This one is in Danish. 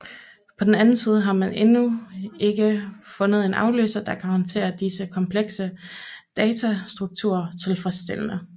På den anden side har man endnu ikke fundet en afløser der kan håndtere disse komplekse datastrukturer tilfredsstillende